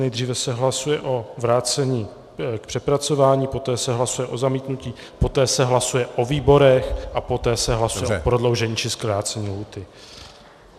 Nejdříve se hlasuje o vrácení k přepracování, poté se hlasuje o zamítnutí, poté se hlasuje o výborech a poté se hlasuje o prodloužení či zkrácení lhůty.